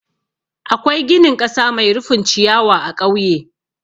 Akwai ginin ƙasa mai rufin ciyawa a ƙauye.